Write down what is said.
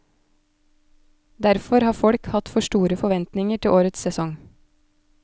Derfor har folk hatt for store forventninger til årets sesong.